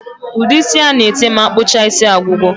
Ude isi ana ete ma akpụcha isi agwụgo